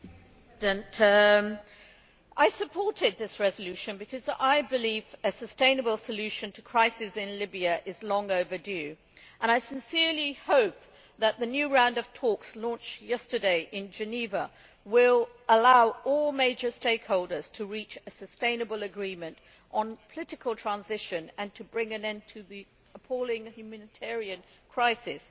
Mr President, I supported this resolution because I believe a sustainable solution to the crisis in Libya is long overdue and I sincerely hope that the new round of talks launched yesterday in Geneva will allow all major stakeholders to reach a sustainable agreement on political transition and bring an end to the appalling humanitarian crisis.